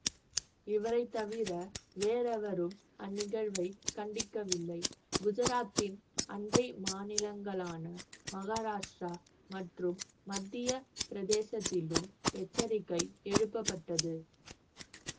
இவரை தவிர வேறெவரும் அந்நிகழ்வை கண்டிக்கவில்லை குஜராத்தின் அண்டை மாநிலங்களான மகாராஷ்டிரா மற்றும் மத்திய பிரதேசத்திலும் எச்சரிக்கை எழுப்பப்பட்டது